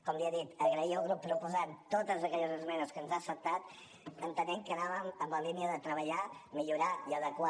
com li he dit agrair al grup proposant totes aquelles esmenes que ens ha acceptat entenent que anàvem en la línia de treballar millorar i adequar